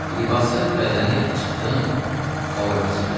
Libası bəzənib çıxdım Qolavinskiyə.